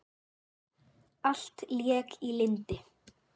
Allt lék í lyndi.